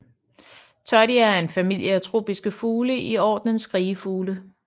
Todier er en familie af tropiske fugle i ordenen skrigefugle